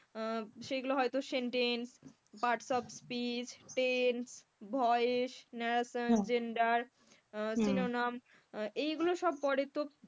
আহ সেগুলো হয়তো sentence, parts of speech, tense, voice, narration, gender, synonym এগুলো সব পড়ে তো,